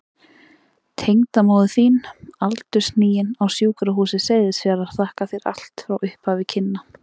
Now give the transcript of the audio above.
Tengdamóðir þín aldurhnigin, á Sjúkrahúsi Seyðisfjarðar, þakkar þér allt frá upphafi kynna.